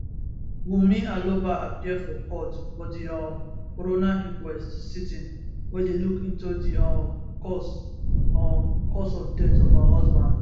wunmi aloba appear for court for di um coroner inquest sitting wey dey look into di um cause um cause of death of her husband